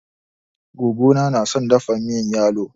Gogo na na son dafa miyan yalo.